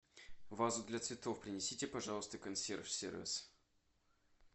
вазу для цветов принесите пожалуйста консьерж сервис